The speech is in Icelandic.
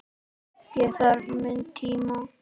Ég þarf minn tíma.